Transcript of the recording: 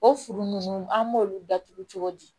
O furu nunnu an b'olu datugu cogo di